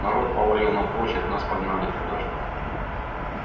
народ повалил на площадь нас погнали туда же